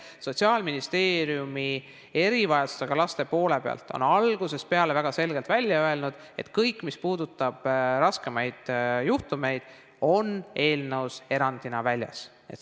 Sotsiaalministeerium on erivajadustega laste poole pealt algusest peale väga selgelt välja öelnud, et kõik, mis puudutab raskemaid juhtumeid, on eelnõus erandina väljas.